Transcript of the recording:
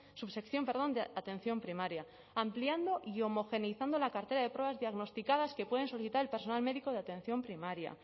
subsección perdón de atención primaria ampliando y homogeneizando la cartera de pruebas diagnosticadas que puede solicitar el personal médico de atención primaria